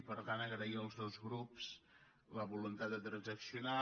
i per tant agrair als dos grups la voluntat de transac·cionar